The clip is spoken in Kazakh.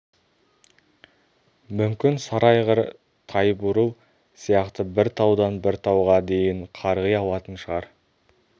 мүмкін сары айғыр тайбурыл сияқты бір таудан бір тауға дейін қарғи алатын шығар